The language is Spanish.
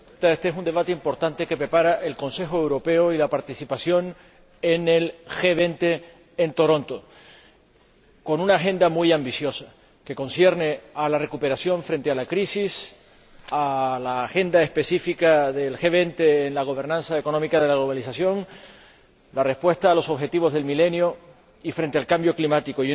Señora Presidenta, éste es un debate importante que prepara el Consejo Europeo y la participación en el G20 en Toronto con una agenda muy ambiciosa, que concierne a la recuperación frente a la crisis, a la agenda específica del G20 en la gobernanza económica de la globalización, a la respuesta a los Objetivos del Milenio y frente al cambio climático.